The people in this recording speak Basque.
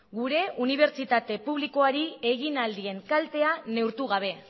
gure unibertsitate publikoari egin ahal dien kaltea neurtu gabe